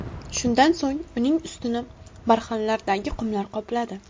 Shundan so‘ng uning ustini barxanlardagi qumlar qopladi.